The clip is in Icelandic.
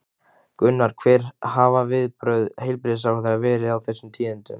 Gunnar, hver hafa viðbrögð heilbrigðisráðherra verið við þessum tíðindum?